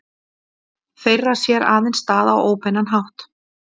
Þeirra sér aðeins stað á óbeinan hátt.